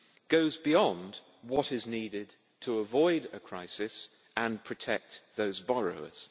goes beyond what is needed to avoid a crisis and protect those borrowers.